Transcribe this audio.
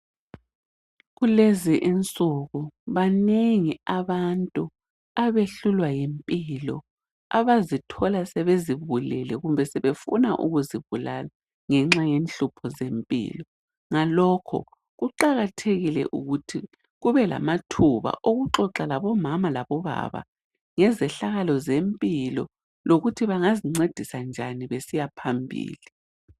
Kulezinsuku banengi abantu abehluhlwa yimpilo, abazithola sebezibulele kumbe sebefuna ukuzibulala ngenxa yenhlupho zempilo, ngalokho kuqakathekile ukuthi kubelamathuba okuxoxa labomama labobaba ngezehlakalo zempilo lokuthi bengazincedisa njani besiya phambili.